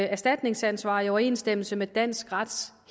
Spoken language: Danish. erstatningsansvar i overensstemmelse med dansk rets